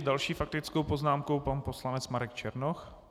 S další faktickou poznámkou pan poslanec Marek Černoch.